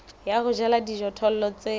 ya ho jala dijothollo tse